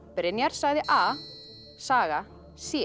Brynjar sagði a saga c